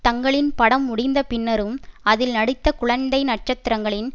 தங்களின் படம் முடிந்த பின்னரும் அதில் நடித்த குழந்தை நட்சத்திரங்களின்